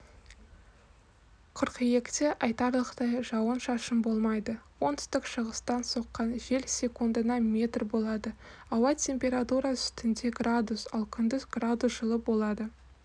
қыркүйекте айтарлықтай жауын шашын болмайды оңтүстік шығыстан соққан жел секундына метр болады ауа температурасы түнде градус ал күндіз градус жылы болады